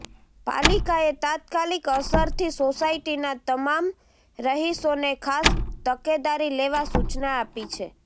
પાલિકાએ તાત્કાલીક અસરથી સોસાયટીના તમામ રહીશોને ખાસ તકેદારી લેવા સુચના આપી છે